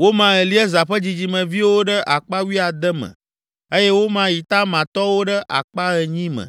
Woma Eleazar ƒe dzidzimeviwo ɖe akpa wuiade me eye woma Itamar tɔwo ɖe akpa enyi me